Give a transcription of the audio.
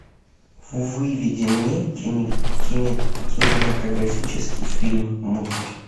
выведи мне кинематографический фильм мусор